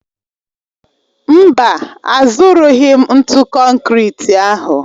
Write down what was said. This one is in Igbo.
Mba, azụrụghị m ntụ konkịtị ahụ